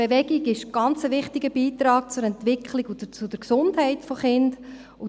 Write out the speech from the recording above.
Bewegung ist ein ganz wichtiger Beitrag zur Entwicklung und zur Gesundheit der Kinder.